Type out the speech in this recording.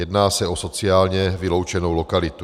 Jedná se o sociálně vyloučenou lokalitu.